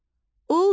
Ulduz